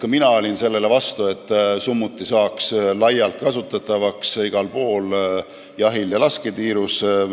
Ka mina olin selle vastu, et summuti saaks laialt kasutatavaks igal pool, jahil ja lasketiirus.